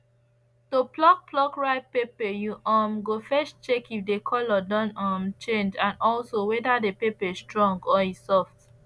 to pluck pluck ripe pepper you um go first check if the colour don um change and also whether the pepper strong or e soft